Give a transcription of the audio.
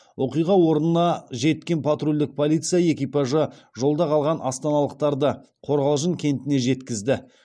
оқиға орнына жеткен патрульдік полиция экипажы жолда қалған астаналықтарды қорғалжын кентіне жеткізді